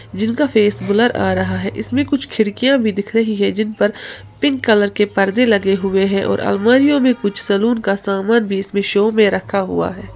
जिनका face blur आ रहा है इसमें कुछ खिड़कियां भी दिख रहीं हैं जिनपर पिंक कलर के पर्दे लगे हुए हैं और अलमारीयो में कुछ सैलून का सामान भी इसमें शो में रखा हुआ है।